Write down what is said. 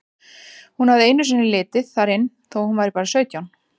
Hún hafði einu sinni litið þar inn þó að hún væri bara sautján.